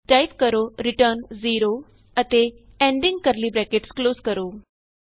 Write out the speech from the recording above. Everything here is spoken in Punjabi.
ਟਾਈਪ ਕਰੋ ਰਿਟਰਨ 0 ਅਤੇ ਐਂਡਿੰਗ ਕਰਲੀ ਬਰੈਕਟਸ ਕਲੋਜ਼ ਕਰੋ